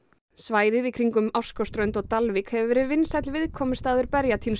svæðið í kringum Ársskógsströnd og Dalvík hefur verið vinsæll viðkomustaður